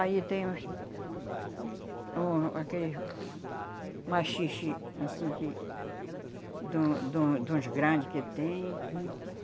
Aí tem aqueles os, oh aquele machixes assim que... Duns duns de uns grandes que tem.